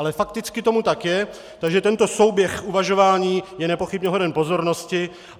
Ale fakticky tomu tak je, takže tento souběh uvažování je nepochybně hoden pozornosti.